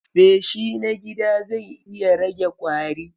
Feshi na gida zai iya rage ƙwari.